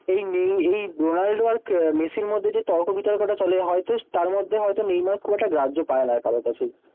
এই নেই এই রোনাল্ডো আর মেসির মধ্যে যে তর্ক বিতর্ক টা চলে হয়তো তার মধ্যে হয়তো নেইমার খুব একটা গ্রাহ্য পায় না কারো কাছেই।